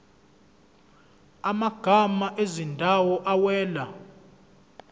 amagama ezindawo awela